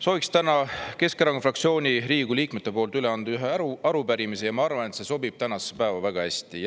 Sooviks täna Keskerakonna fraktsiooni Riigikogu liikmete poolt üle anda ühe arupärimise ja ma arvan, et see sobib tänasesse päeva väga hästi.